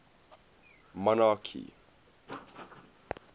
monarchy